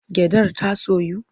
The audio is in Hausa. Gyaɗar ta soyu?